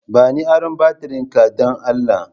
Bani aron batirin ka dan Allah